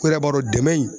O yɛrɛ b'a dɔn dɛmɛ in